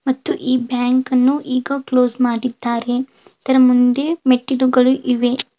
ಮತ್ತು ಈ ಬ್ಯಾಂಕನ್ನು ಈಗ ಕ್ಲೋಸ್ ಮಾಡಿದ್ದಾರೆ- ಇದರ ಮುಂದೆ ಮೆಟ್ಟಿಲುಗಳು ಇವೆ.